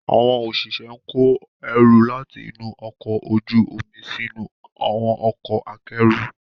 Àwọn òṣìṣẹ́ ń kó ẹrù láti inú ọkọ̀ ojú omi sínú àwọn ọkọ̀ akẹ́rù.